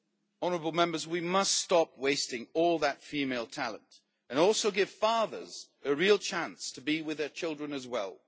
Honourable Members, we must stop wasting all that female talent and give fathers a real chance to be with their children as well.